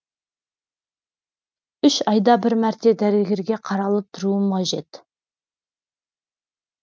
үш айда бір мәрте дәрігерге қаралып тұруым қажет